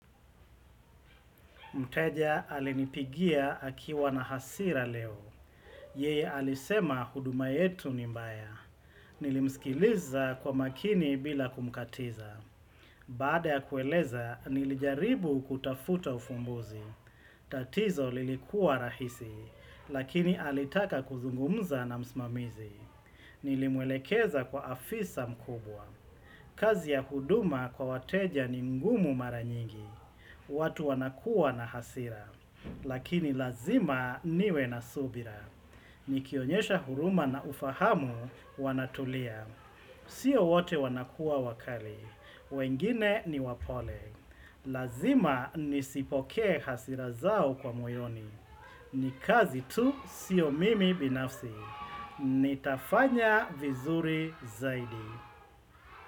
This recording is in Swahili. Mteja alinipigia akiwa na hasira leo. Yeye alisema huduma yetu ni mbaya. Nilimsikiliza kwa makini bila kumkatiza. Baada ya kueleza, nilijaribu kutafuta ufumbuzi. Tatizo lilikua rahisi, lakini alitaka kuzungumza na msimamizi. Nilimwelekeza kwa afisa mkubwa. Kazi ya huduma kwa wateja ni ngumu maranyingi. Watu wanakuwa na hasira, lakini lazima niwe na subira. Nikionyesha huruma na ufahamu wanatulia. Sio wote wanakuwa wakali, wengine ni wapole. Lazima nisipoke hasira zao kwa moyoni. Nikazi tu sio mimi binafsi. Nitafanya vizuri zaidi.